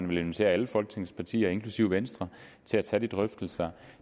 vil invitere alle folketingets partier inklusive venstre til at tage de drøftelser